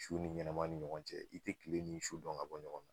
Su ni ɲɛnama ni ɲɔgɔn cɛ i tɛ tile ni su dɔn ka bɔ ɲɔgɔn na